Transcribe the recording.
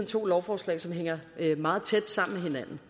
to lovforslag som hænger meget tæt sammen med